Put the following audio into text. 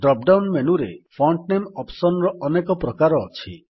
drop down ମେନୁରେ font ନାମେ option ର ଅନେକ ପ୍ରକାର ଅଛି